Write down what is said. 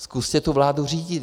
Zkuste tu vládu řídit.